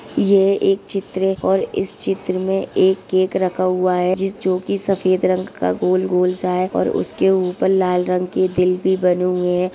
यह एक चित्र है और इस चित्र में एक केक रखा हुआ है । जिस जो कि सफ़ेद रंग का गोल-गोल सा है और उसके ऊपर लाल रंग के दिल भी बने हुए हैं।